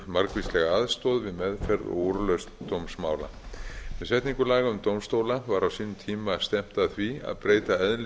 margvíslega aðstoð við meðferð og úrlausn dómsmála með setningu laga um dómstóla var á sínum tíma stefnt að því að breyta eðli